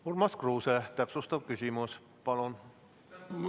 Urmas Kruuse, täpsustav küsimus, palun!